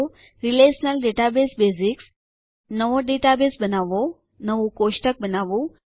relational database basics નવો database બનાવવો નવું કોષ્ટક બનાવવું